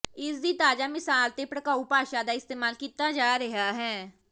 ਇਸ ਦੀ ਤਾਜ਼ਾ ਮਿਸਾਲ ਤੇ ਭੜਕਾਊ ਭਾਸ਼ਾ ਦਾ ਇਸਤੇਮਾਲ ਕੀਤਾ ਜਾ ਰਿਹਾ ਹੈ